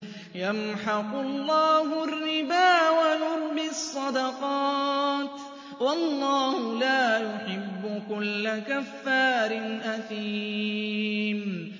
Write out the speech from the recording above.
يَمْحَقُ اللَّهُ الرِّبَا وَيُرْبِي الصَّدَقَاتِ ۗ وَاللَّهُ لَا يُحِبُّ كُلَّ كَفَّارٍ أَثِيمٍ